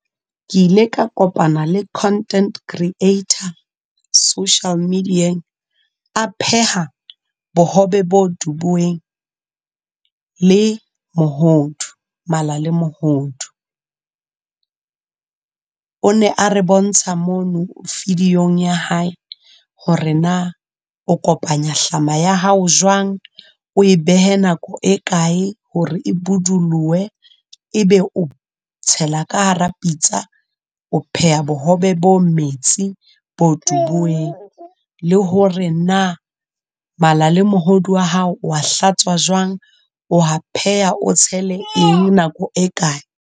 Ke ile ka kopana le content creator, social media-eng, a pheha bohobe bo dubuweng le mohodu, mala le mohodu. O ne a re bontsha mono video-ng ya hae hore na, o kopanya hlama ya hao jwang, o e behe nako e kae hore e bodulohe? E be o tshela ka hara pitsa, o pheha bohobe bo metsi, bo dubuweng. Le hore na mala le mohodu wa hao, o wa hlatswa jwang, o wa pheha o tshele eng nako e kae?